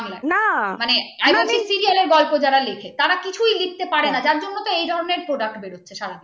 I mean serial র গল্প যারা লেখে কিছু লিখতে পারে যার জন্য এই ধরনের product বের হচ্ছে সারা দিন